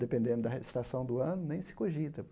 Dependendo da re estação do ano, nem se cogita.